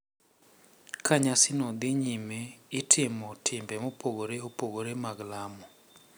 Ka nyasino dhi nyime, itimo timbe mopogore opogore mag lamo .